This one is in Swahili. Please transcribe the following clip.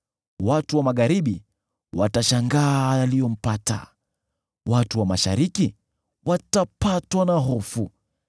Watu wa magharibi watashangaa yaliyompata; watu wa mashariki watapatwa na hofu.